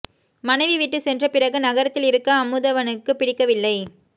மனைவி விட்டுச் சென்ற பிறகு நகரத்தில் இருக்க அமுதவனுக்கு பிடிக்கவில்லை